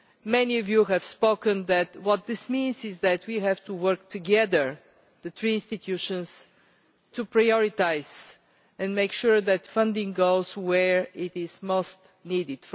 Many of you have said that what this means is that we have to work together, the three institutions, to prioritise and make sure that funding goes where it is most needed.